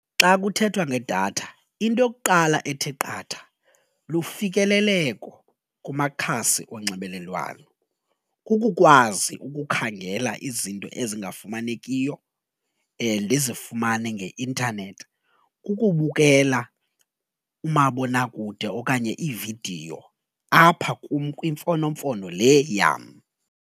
Xa kuthethwa ngedatha into yokuqala ethe qatha lufikeleleko kumakhasi onxibelelwano, kukukwazi ukukhangela izinto ezingafumanekuyo ndizifumane nge-intanethi. Kukubukela umabonakude okanye iividiyo apha kum kwimfonomfono le yam.